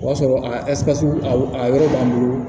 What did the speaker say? O y'a sɔrɔ a ka a yɔrɔ b'an bolo